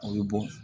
O bɛ bɔn